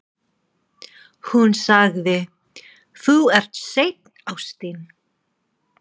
Hún sagði: Þú ert seinn, ástin.